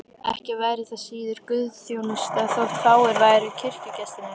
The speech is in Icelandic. Ekki væri það síður guðsþjónusta þótt fáir væru kirkjugestirnir.